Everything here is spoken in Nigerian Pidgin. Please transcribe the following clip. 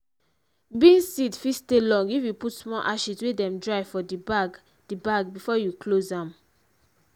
beans seed fit stay long if you put small ashes wey dem dry for di bag di bag before you close am.